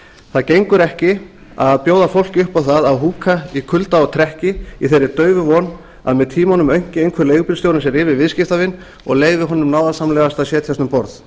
það gengur ekki að bjóða fólki upp á það að húka í kulda og trekki í þeirri daufu von að með tímanum aumki einhver leigubílstjórinn sig yfir viðskiptavin og leyfi honum náðarsamlegast að setjast um borð